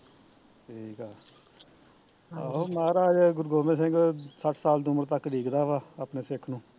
ਠੀਕ ਆ ਅਹ ਆਹੋ ਮਾਹਰਾਜ ਗੁਰੂ ਗੋਬਿੰਦ ਸਿੰਘ ਸੱਠ ਸਾਲ ਦੀ ਉਮਰ ਤਕ ਡੀਕਦਾ ਵਾਂ, ਆਪਣੇ ਸਿੱਖ ਨੂੰ